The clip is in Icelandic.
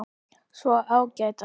Svona ágætar.